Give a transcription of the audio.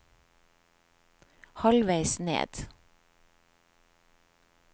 halvveis ned